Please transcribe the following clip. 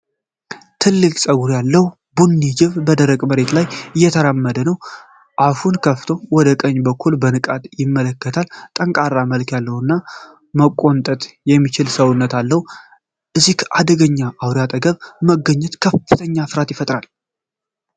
ትልቅ ጸጉር ያለው ቡኒ ጅብ በደረቅ መሬት ላይ እየተራመደ ነው። አፉን ከፍቶ ወደ ቀኝ በኩል በንቃት ይመለከታል። ጠንካራ መልክ ያለውና መቆንጠጥ የሚችል ሰውነት አለው። ከዚህ አደገኛ አውሬ አጠገብ መገኘት ከፍተኛ ፍርሃትን ይፈጥራል።